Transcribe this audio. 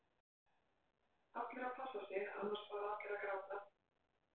Allir að passa sig annars fara allir að gráta??